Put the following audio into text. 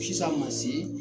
Sisan masi